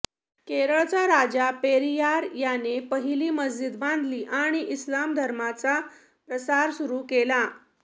केरळचा राजा पेरियार याने पहिली मस्जिद बांधली आणि इस्लाम धर्माचा प्रसार सुरू केला